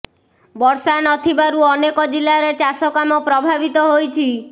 ବର୍ଷା ନଥିବାରୁ ଅନେକ ଜିଲ୍ଲାରେ ଚାଷ କାମ ପ୍ରଭାବିତ ହୋଇଛି